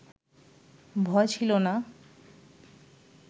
ভয় ছিল না,